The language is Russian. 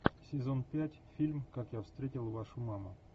сезон пять фильм как я встретил вашу маму